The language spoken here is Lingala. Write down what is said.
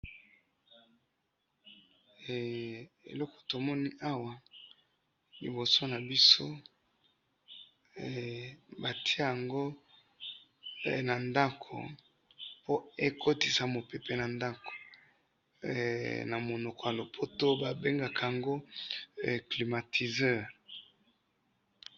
he eloko tomoni awa liboso nabso batoye yang na ndaku po ekotisa mupepe na ndaku na munoko ya lopoto ba bengaka yango hee climatiseur